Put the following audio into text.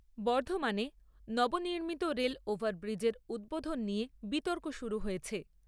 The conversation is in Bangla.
বর্ধমানে নবনির্মিত রেল ওভার ব্রীজের উদ্বোধন নিয়ে বিতর্ক শুরু হয়েছে।